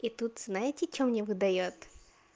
и тут знаете что мне выдаёт